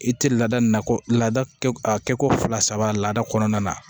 I tɛ laada nakɔ lada a kɛko fila saba lada kɔnɔna na